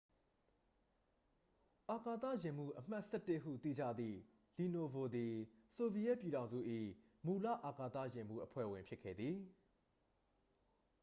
"""အာကသယာဉ်မှူး အမှတ် ၁၁" ဟု သိကြသည့် လီနိုဗို သည် ဆိုဗီယက်ပြည်ထောင်စု၏ မူလ အာကသယာဉ်မှူး အဖွဲ့ဝင် ဖြစ်ခဲ့သည်။